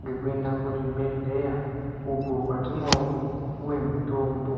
ngekuenda kuzvibhedhleya, uko kwatinopuwe mitombo.